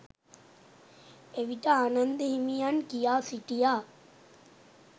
එවිට ආනන්ද හිමියන් කියා සිටියා